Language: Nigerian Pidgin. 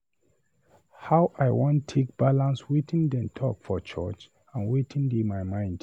How I wan take balance wetin dem talk for church and wetin dey my mind?